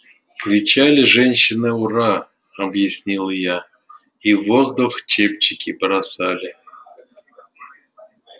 кричали женщины ура объяснила я и в воздух чепчики бросали